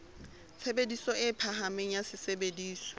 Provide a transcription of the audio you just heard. tshebediso e phahameng ya sesebediswa